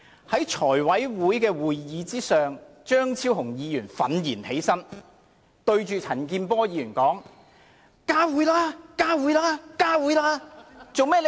在某次財務委員會會議上，張超雄議員憤然起立並向着陳健波議員說："加會吧！